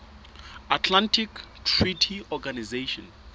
atlantic treaty organization